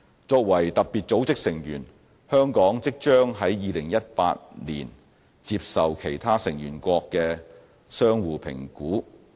作為特別組織的成員，香港即將於2018年接受其他成員國的相互評估。